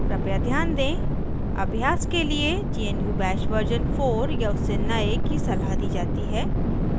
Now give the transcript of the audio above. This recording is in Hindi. कृपया ध्यान दें अभ्यास के लिए gnu bash version 4 या उससे नए की सलाह दी जाती है